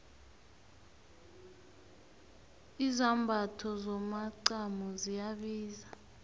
izambatho zomacamo ziyabiza